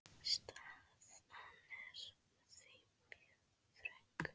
Staðan er því mjög þröng.